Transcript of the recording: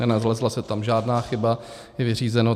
Nenalezla se tam žádná chyba, je vyřízeno.